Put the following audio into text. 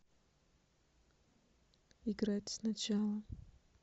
играть сначала